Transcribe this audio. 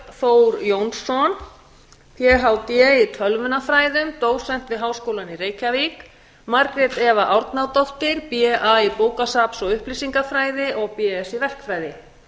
þór jónsson phd í tölvunarfræði dósent við háskólann í reykjavík og margrét eva árnadóttir ba í bókasafns og upplýsingafræði og bsc í verkfræði